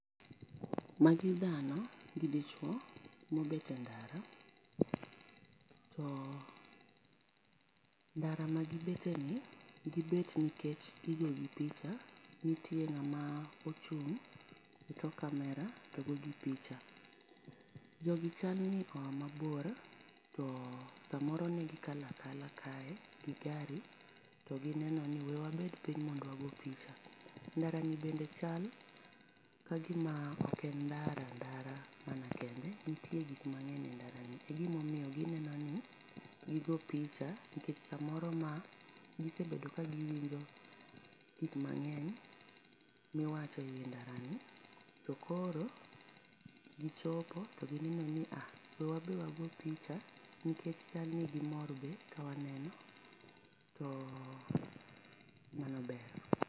Ma gi dhano gi dichuo ma obet e ndara to ndara ma gi bete ni gi bet nikech gi go gi picha, nitie ng'ama ochung e tok camera to go gi picha. Jo gi chal ni oya ma bor ot sa moro ne gi kalo akala kae gi gari to gi neno ni we wabed piny mondo wa go picha ndara ni bende chal ka gi ma ok en ndara ndara mana kende nitie gik mangeny e ndara ni e gi ma omiyo gi neno ni gi go picha nikech saa moro ma gi sebedo ka gi winjo gik mangeny mi iwacho e wi ndara ni to koro gi chopo to gi neno ni aa we wan be wa go picha ,nikech chal ni gi mor be ka waneno, to mano ber.